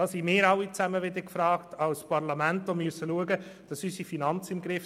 Das liegt wiederum in der Verantwortung des Parlaments, indem wir die Finanzen überwachen.